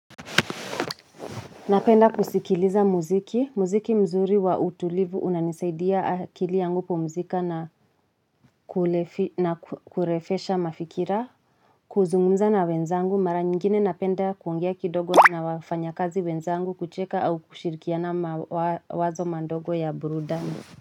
Napenda kusikiliza muziki, muziki mzuri wa utulivu unanisaidia akili yangu kupu mzika na ku na kurefusha mafikira, kuzungumza na wenzangu, mara nyingine napenda kuongea kidogo na wafanya kazi wenzangu kucheka au kushirikina mawazo manogo ya burudani.